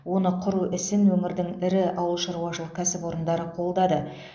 оны құру ісін өңірдің ірі ауылшаруашылық кәсіпорындары қолдады